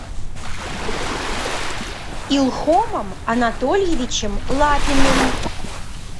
илхомом анатольевичем лапиным